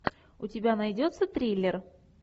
у тебя найдется триллер